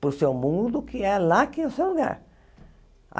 para o seu mundo, que é lá que é o seu lugar.